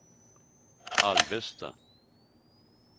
Alvesta